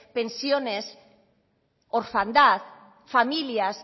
pensiones orfandad familias